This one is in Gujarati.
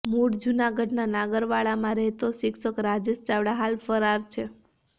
મૂળ જૂનાગઢના નાગરવાડામાં રહેતો શિક્ષક રાજેશ ચાવડા હાલ ફરાર છે